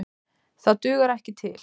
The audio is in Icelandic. Það dugar ekki til.